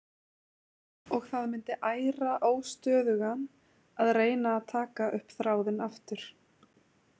Og það myndi æra óstöðugan að reyna að taka upp þráðinn aftur.